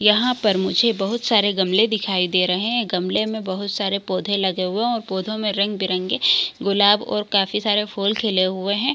यहाँ पर मुझे बहुत सारे गमले दिखाई दे रहे है गमले में बहुत सारे पौधे लगे हुए है और पौधों में रंग-बिरंगे गुलाब और काफी सारे फूल खिले हुए हैं ।